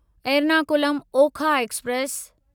Ernakulam Okha express